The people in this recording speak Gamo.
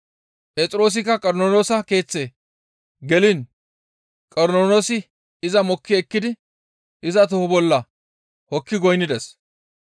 Phexroosikka Qornoloosa keeththe geliin Qornoloosi iza mokki ekkidi iza toho bolla hokki goynnides.